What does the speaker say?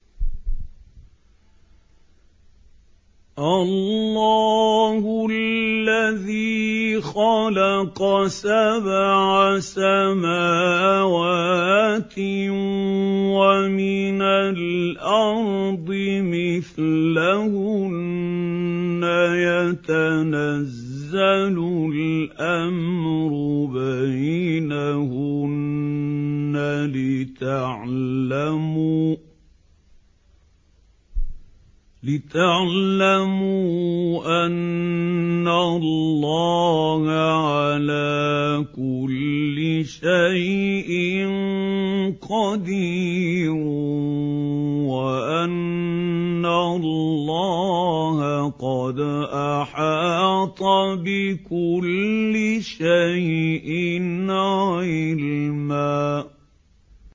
اللَّهُ الَّذِي خَلَقَ سَبْعَ سَمَاوَاتٍ وَمِنَ الْأَرْضِ مِثْلَهُنَّ يَتَنَزَّلُ الْأَمْرُ بَيْنَهُنَّ لِتَعْلَمُوا أَنَّ اللَّهَ عَلَىٰ كُلِّ شَيْءٍ قَدِيرٌ وَأَنَّ اللَّهَ قَدْ أَحَاطَ بِكُلِّ شَيْءٍ عِلْمًا